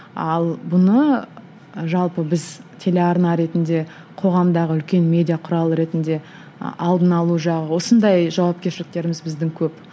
ал бұны ы жалпы біз телеарна ретінде қоғамдағы үлкен медиа құрал ретінде ы алдын алу жағы осындай жауапкершіліктеріміз біздің көп